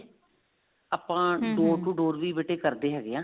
ਆਪਾਂ door to door ਵੀ ਬੇਟੇ ਕਰਦੇ ਹੈਗੇ ਹਾਂ